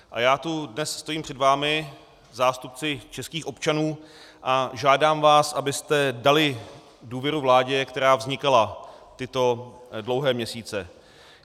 A já tu dnes stojím před vámi, zástupci českých občanů, a žádám vás, abyste dali důvěru vládě, která vznikala tyto dlouhé měsíce.